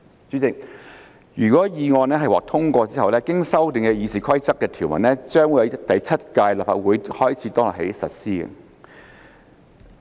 主席，如果決議案獲通過，經修訂的《議事規則》條文將自第七屆立法會開始當日起實施。